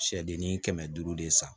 Sɛdenni kɛmɛ duuru de san